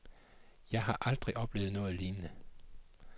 Jeg har aldrig oplevet noget lignende.